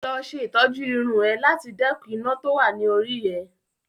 Lọ ṣe ìtọ́jú irun ẹ láti dẹ́kun iná tó wà ni orí rẹ